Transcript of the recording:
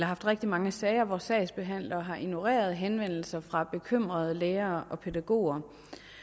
haft rigtig mange sager hvor sagsbehandlere har ignoreret henvendelser fra bekymrede lærere og pædagoger